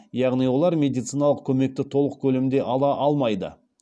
яғни олар медициналық көмекті толық көлемде ала алмайды